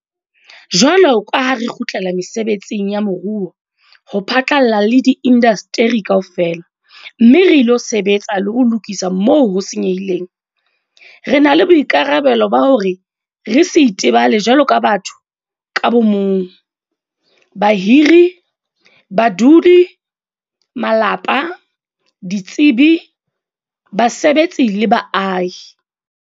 Jwalo ka ha re kgutlela mesebetsing ya moruo ho phatlalla le diindasteri kaofela - mme re ilo sebetsa le ho lokisa moo ho senyehileng - re na le boikarabelo ba hore re se itebale jwaloka batho ka bo mong, bahiri, badudi, malapa, ditsebi, basebetsi le baahi.